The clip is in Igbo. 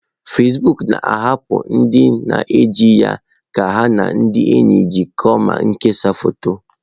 Fezbuuku na-ahapụ ndị na eji ya ka ha na ndị enyi jikọọ ma kesaa foto.